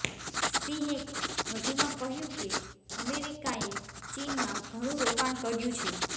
સિંહે વધુમાં કહ્યું કે અમેરિકાએ ચીનમાં ઘણું રોકાણ કર્યું છે